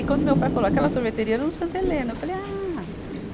E quando meu pai falou, aquela sorveteria era no Santa Helena, eu falei, ah!